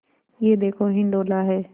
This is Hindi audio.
यह देखो हिंडोला है